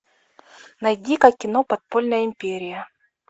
найди ка кино подпольная империя